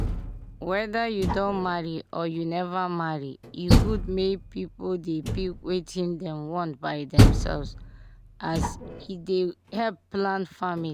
weda u don marry or neva marry e good make pipu dey pick wetin dem want by themselves as e dey help plan family